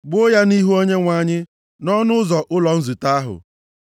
Gbuo ya nʼihu Onyenwe anyị nʼọnụ ụzọ ụlọ nzute ahụ.